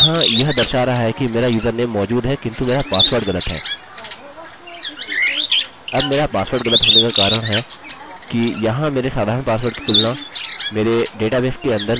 अब मेरा पासवर्ड गलत होने का कारण है कि यहाँ मेरे साधारण पासवर्ड की तुलना मेरे डेटाबेस के अंदर मेरे md5encrypted पासवर्ड से की जा रही है